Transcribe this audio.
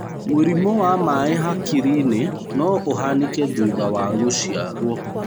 Mũrimũ wa maĩ hakiri-inĩ no ũhanĩke thutha wa gũciarwo.